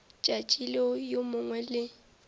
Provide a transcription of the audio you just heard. tšatši leo yo mongwe le